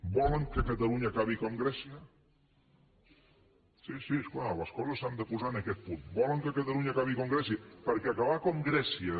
volen que catalunya acabi com grècia sí sí és clar les coses s’han de posar en aquest punt volen que catalunya acabi com grècia perquè acabar com grècia